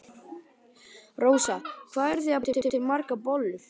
Rósa: Hvað eruð þið að búa til margar bollur?